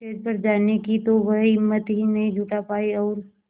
stage पर जाने की तो वह हिम्मत ही नहीं जुटा पाई और